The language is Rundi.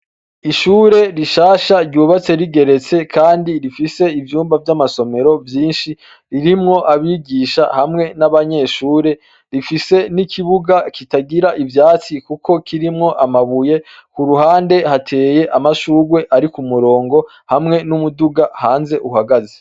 Ishure rishasha ryubatse rigeretse, kandi rifise ivyumba vy'amasomero vyinshi ririmwo abigisha hamwe n'abanyeshure rifise n'ikibuga kitagira ivyatsi, kuko kirimwo amabuye ku ruhande hateye amashurwe ari ku murongo hamwe n'umuduga hanze uhagaze.